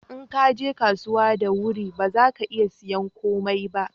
in ka je kasuwa da wuri ba za ka iya sayan komai ba